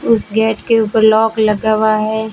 उस गेट के ऊपर लॉक लगा हुआ है।